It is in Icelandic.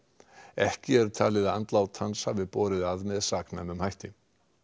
ekki er talið að andlát hans hafi borið að með saknæmum hætti